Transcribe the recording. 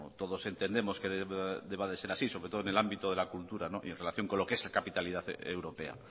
todos entendemos que deba de ser así sobre todo en el ámbito de la cultura y en relación con lo que es la capitalidad europea